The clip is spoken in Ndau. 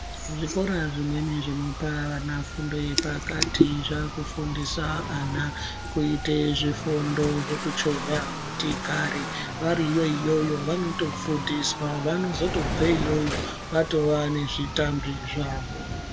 Zvikora zvimweni zvinopa vana fundo yepakati zvakufundisa ana kuite zvifundo zvekuchovhe motikari vari iyoyo vanotofundiswa vanozotobveyo iyoyo vatova nezvitambi zvavo.